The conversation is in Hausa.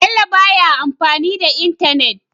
Bello baya amfani da entanet